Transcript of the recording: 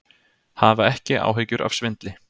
Hafa ekki áhyggjur af svindli